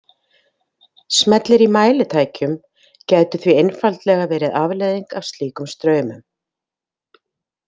Smellir í mælitækjum gætu því einfaldlega verið afleiðing af slíkum straumum.